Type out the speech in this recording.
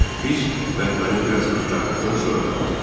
Biz mətbəəni biraz axtardıqdan sonra tapdıq.